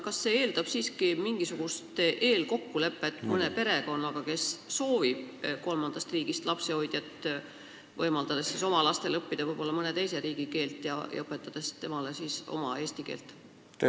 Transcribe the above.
Kas see eeldab siiski mingisugust eelkokkulepet mõne perekonnaga, kes soovib kolmandast riigist lapsehoidjat, et võimaldada oma lastel õppida mõne teise riigi keelt ja õpetada lapsehoidjale eesti keelt?